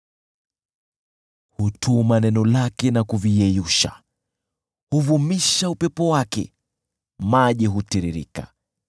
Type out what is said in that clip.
Hutuma neno lake na kuviyeyusha, huvumisha upepo wake, nayo maji hutiririka.